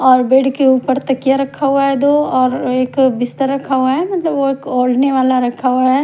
और बेड के ऊपर थकिया रखा हुआ है दो और एक बिस्तर रखा हुआ है मतलब वो एक ओडने वाला रखा हुआ है।